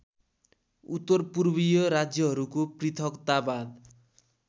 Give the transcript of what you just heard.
उत्तरपूर्वीय राज्यहरूको पृथकतावाद